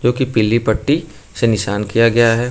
जो की पीली पट्टी से निशान किया गया हे।